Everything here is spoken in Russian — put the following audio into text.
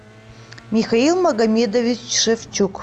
михаил магомедович шевчук